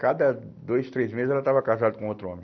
Cada dois, três meses ela estava casada com outro homem.